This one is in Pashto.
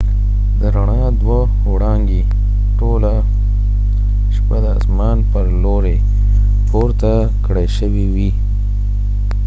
د ر ڼا دوه وړانګې ټوله شپه د آسمان پر لوری پورته کړای شوي وي